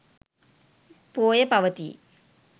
පෝය පවතී.